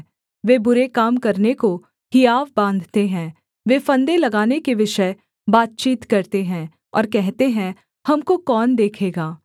वे बुरे काम करने को हियाव बाँधते हैं वे फंदे लगाने के विषय बातचीत करते हैं और कहते हैं हमको कौन देखेगा